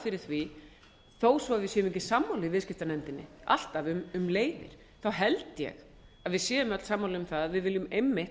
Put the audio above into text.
fyrir því þó svo við séum ekki sammála í viðskiptanefndinni alltaf um leiðir held ég að við séum öll sammála um það að við viljum einmitt